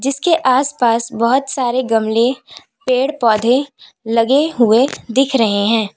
इसके आसपास बहुत सारे गमले पेड़ पौधे लगे हुए दिख रहे हैं।